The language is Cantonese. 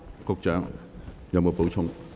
局長，你有否補充？